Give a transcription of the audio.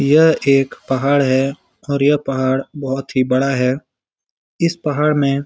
यह एक पहाड़ है और यह पहाड़ बहोत ही बड़ा है इस पहाड़ में--